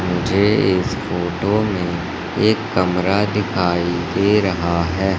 मुझे इस फोटो में एक कमरा दिखाई दे रहा है।